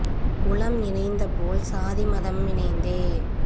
உளம்இணைந்த போல்சாதி மதமி ணைந்தே